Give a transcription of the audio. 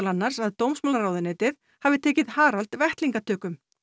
annars að dómsmálaráðuneytið hafi tekið Harald vettlingatökum